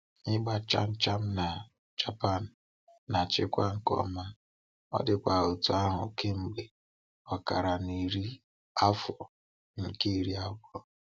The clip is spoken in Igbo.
Ịgba chaa chaa na Japan na-achịkwa nke ọma, ọ dịkwa otú ahụ kemgbe ọkara narị afọ nke iri abụọ.